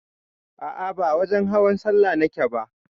A'a ba wajen hawan sallah nake ba